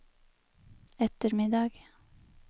ettermiddag